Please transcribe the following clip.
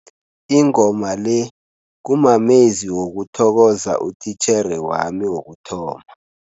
Ingoma le kumamezwi wokuthokoza utitjhere wami wokuthoma.